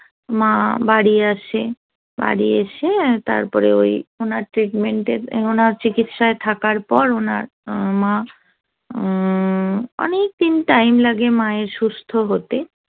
মা বাড়ি আসে বাড়ি এসে তারপরে ওই ওনার treatment ওনার চিকিৎসায় থাকার পর ওনার মা অনেকদিন time লাগে মায়ের সুস্থ হতে